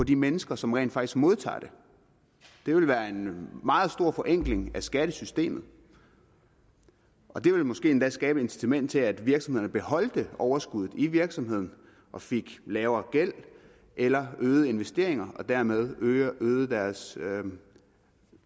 de mennesker som rent faktisk modtager det det ville være en meget stor forenkling af skattesystemet og det ville måske endda skabe et incitament til at virksomhederne beholdt overskuddet i virksomheden og fik lavere gæld eller øgede deres investeringer og dermed øgede øgede deres